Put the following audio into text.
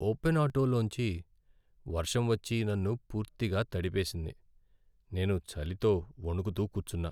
Open auto లోంచి వర్షం వచ్చి నన్ను పూర్తిగా తడిపేసింది, నేను చలితో వణుకుతూ కూర్చున్నా.